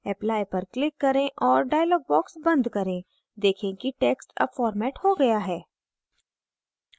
apply पर click करें और dialog box बंद करें देखें की text अब formatted हो गया है